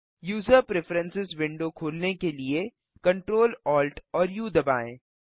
user preferences window खोलने के लिए Ctrl Alt और उ दबाएँ